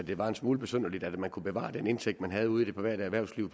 det var en smule besynderligt at man kunne bevare den indtægt man havde ude i det private erhvervsliv